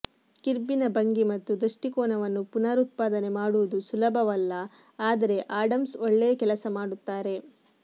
ಕಿರ್ಬಿನ ಭಂಗಿ ಮತ್ತು ದೃಷ್ಟಿಕೋನವನ್ನು ಪುನರುತ್ಪಾದನೆ ಮಾಡುವುದು ಸುಲಭವಲ್ಲ ಆದರೆ ಆಡಮ್ಸ್ ಒಳ್ಳೆಯ ಕೆಲಸ ಮಾಡುತ್ತಾರೆ